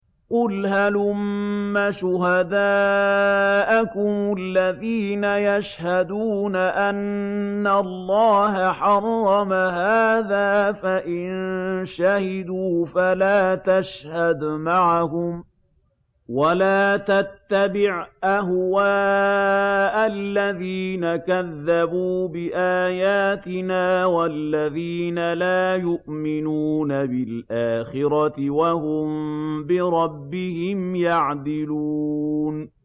قُلْ هَلُمَّ شُهَدَاءَكُمُ الَّذِينَ يَشْهَدُونَ أَنَّ اللَّهَ حَرَّمَ هَٰذَا ۖ فَإِن شَهِدُوا فَلَا تَشْهَدْ مَعَهُمْ ۚ وَلَا تَتَّبِعْ أَهْوَاءَ الَّذِينَ كَذَّبُوا بِآيَاتِنَا وَالَّذِينَ لَا يُؤْمِنُونَ بِالْآخِرَةِ وَهُم بِرَبِّهِمْ يَعْدِلُونَ